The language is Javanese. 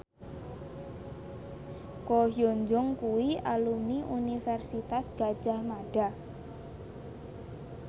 Ko Hyun Jung kuwi alumni Universitas Gadjah Mada